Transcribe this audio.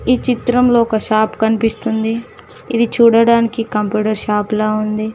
ఈ చిత్రంలో ఒక షాప్ కనిపిస్తుంది ఇది చూడడానికి కంప్యూటర్ షాప్ లా ఉంది.